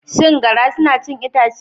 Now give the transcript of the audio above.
Shin garra suna cin itace?